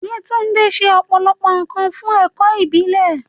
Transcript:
Yewande ṣe ọ̀pọ̀lọpọ̀ nkan fún ẹ̀kọ́ ìbílẹ̀.